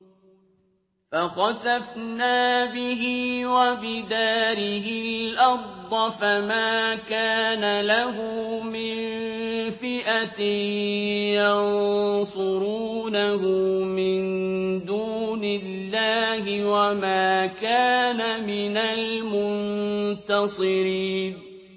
فَخَسَفْنَا بِهِ وَبِدَارِهِ الْأَرْضَ فَمَا كَانَ لَهُ مِن فِئَةٍ يَنصُرُونَهُ مِن دُونِ اللَّهِ وَمَا كَانَ مِنَ الْمُنتَصِرِينَ